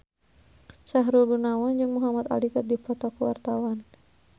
Sahrul Gunawan jeung Muhamad Ali keur dipoto ku wartawan